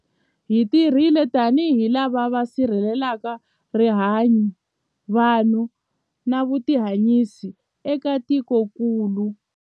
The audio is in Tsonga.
Hi tirhile tanihi lava va si rhelelaka rihanyu, vanhu na vutihanyisi eka tikokulu.